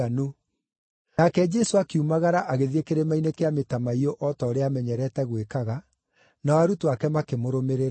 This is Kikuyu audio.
Nake Jesũ akiumagara agĩthiĩ Kĩrĩma-inĩ kĩa Mĩtamaiyũ o ta ũrĩa amenyerete gwĩkaga, nao arutwo ake makĩmũrũmĩrĩra.